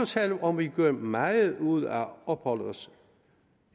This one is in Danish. selv om vi gør meget ud af at opholde os